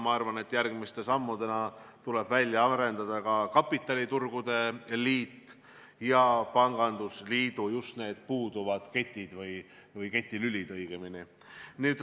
Ma arvan, et järgmiste sammudena tuleb välja arendada kapitaliturgude liit ja pangandusliidu puuduvad ketid või õigemini keti lülid.